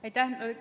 Aitäh!